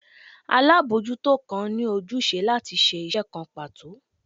alabojuto kan ni ojúsẹ latí ṣe iṣẹ kán pato